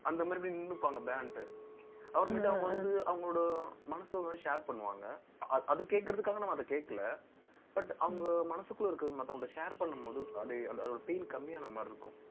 அந்த மாரி, இப்படி நின்னுப்பாங்க பேண்ட்டு அவர் கிட்ட அவங்க வந்து, அவங்களோட மனசோர்வை share பண்ணுவாங்க. அது கேட்கறதுக்காக, நம்ம அதை கேட்கலை. But அவங்க மனசுக்குள்ள இருக்கறது, மத்தவங்ககிட்ட share பண்ணும்போது, அப்படியே, அந்த, அதோட feel கம்மியான மாரி இருக்கும்